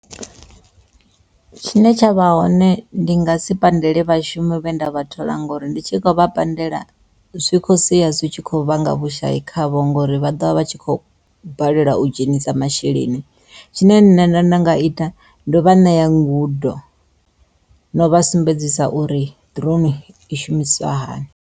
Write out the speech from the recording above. Tshine tsha vha hone ndi nga si pandele vhashumi vhe nda vha thola ngori ndi tshi khou vha pandela zwi khou sia zwitshi kho vhanga vhushayi khavho ngori vha ḓovha vha tshi kho balelwa u dzhenisa masheleni, tshine nṋe nda nda nga ita ndo vha ṋea ngudo na u vha sumbedzisa uri drone i shumisiswa hani.